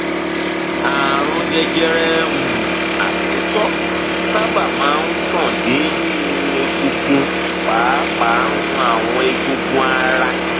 ààrùn jẹjẹrẹ um asétọ sábà máa ń tàn dé um egungun pàápàá um àwọn eegun ara